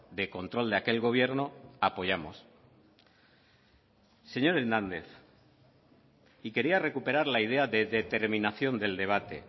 de control de aquel gobierno apoyamos señor hernández y quería recuperar la idea de determinación del debate